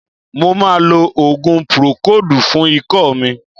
Mo ma lo òògùn púrókòòdù fún ikọ́ mi.